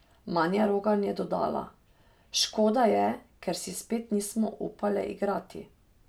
Manja Rogan je dodala: "Škoda je, ker si spet nismo upale igrati.